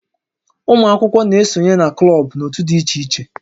Ụmụ akwụkwọ na-esonye na klọb na òtù dị iche iche